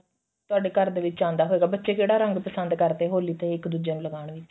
ਤੁਹਾਡੇ ਘਰ ਦੇ ਵਿੱਚ ਆਂਦਾ ਹੈਗਾ ਬੱਚੇ ਕਿਹੜਾ ਰੰਗ ਪਸੰਦ ਕਰਦੇ ਨੇ ਹੋਲੀ ਤੇ ਇੱਕ ਦੁੱਜੇ ਨੂੰ ਲਗਾਉਣ ਵਿੱਚ